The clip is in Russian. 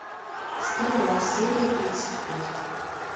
стрела серия тридцать пять